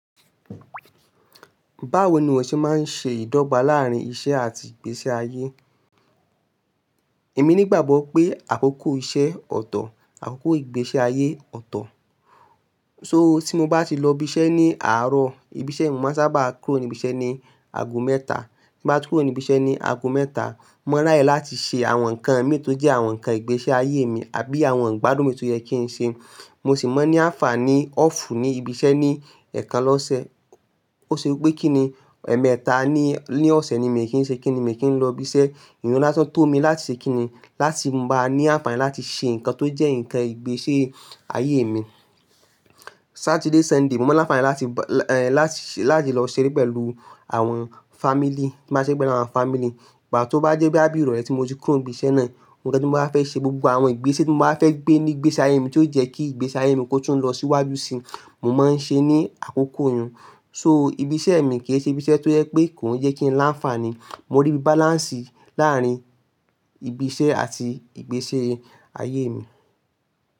Báwo ni ìwọ ṣe máa ń ṣe ìdọ́gba láàárín iṣẹ́ àti ìgbésí ayé? Èmi nígbàgbọ́ pé àkókò iṣẹ́ ọ̀tọ̀, àkókò ìgbésí ayé ọ̀tọ̀. So tí mo bá ti lọ ibi iṣẹ́ ní àárọ̀, ibi iṣẹ́ mo máa n sábà kúrò níbi iṣẹ́ ní ago mẹ́ta. Tí n bá ti kúrò níbi iṣẹ́ ní ago mẹ́ta, mo ráyè láti ṣe àwọn nǹkan mii tó jẹ́ àwọn nǹkan ìgbésí ayé mi àbí àwọn ìgbádùn mi tó yẹ kí n ṣe. Mo sì máa ń ní àǹfààní ọ́fù ní ibi iṣẹ́ ní ẹ̀ẹ̀kan lọ́sẹ̀. Ó ṣe wípé kíni, ẹ̀ẹ̀mẹ́ta ní, ní ọ̀sẹ̀ ni èmi kì í ṣe kíni, èmi kì í lọ ibi iṣẹ́. Iru n lasán tó mi láti ṣe kíni, láti n bá ní àǹfààní láti ṣe nǹkan tó jẹ́ nǹkan ìgbésí ayé mi. Satiide, Sunday, mo máa ń ní àǹfààní láti, láti lọ ṣeré pẹ̀lú àwọn family. Mo máa ń ṣeré pẹ̀lú àwọn family. Pató bá jẹ́ bí àbí ìrọ̀lẹ́ tí mo ti kúrò ní ibi iṣẹ́ náà, nǹkan tí mo bá wa fẹ́ ṣe, gbogbo àwọn ìgbésẹ́ tí mo bá wa fẹ́ gbé ní ìgbésí ayé mi ti ó jẹ́ kí ìgbésí ayé mi kó tún lọ síwájú si, mo máa ń ṣe ní àkókò oyún. So ibi iṣẹ́ mi kì í ṣe ibi iṣẹ́ tó yẹ pé kò ń jẹ́ kí n láǹfààní. Mo rí bi balance láàárín ibi iṣẹ́ àti ìgbésí ayé mi.